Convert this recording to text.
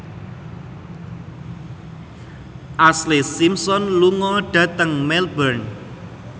Ashlee Simpson lunga dhateng Melbourne